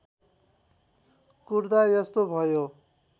कुट्दा यस्तो भयो